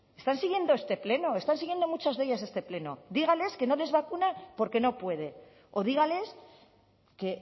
están siguiendo este pleno están siendo muchos de ellos este pleno dígales que no les vacuna porque no puede o dígales que